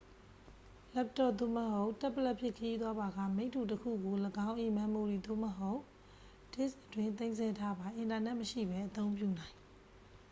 လပ်တော့ပ် သို့မဟုတ် တက်ဘလက်ဖြင့် ခရီးသွားပါက မိတ္တူတစ်ခုကို ၎င်း၏ မမ်မိုရီ သို့မဟုတ် ဒစ်စ်အတွင်း သိမ်းဆည်းထားပါ အင်တာနက်မရှိဘဲ အသုံးပြုနိုင်။